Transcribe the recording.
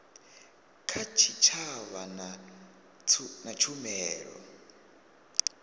kha tshitshavha na tshumelo ya